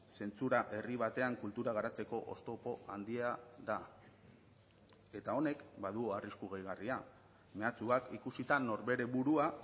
zentsura herri batean kultura garatzeko oztopo handia da eta honek badu arrisku gehigarria mehatxuak ikusita norbere burua